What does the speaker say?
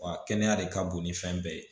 Wa kɛnɛya de ka bon ni fɛn bɛɛ ye